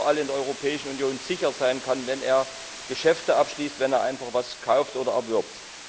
sich überall in der Europäischen Union sicher sein kann, wenn er Geschäfte abschließt, wenn er etwas kauft oder erwirbt.